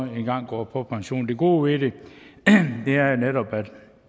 en gang går på pension det gode ved det er jo netop